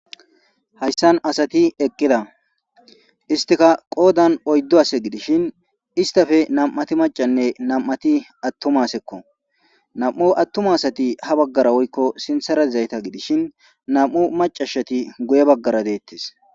hayssan asati eqqida istika qoodan oyddo ase gidishin istafe nam7ati macanne nam7ati attumasekko nam7u attuma asati ha baggara woykko sinthara izayta gidishin nam7u macashati guye baggara deettes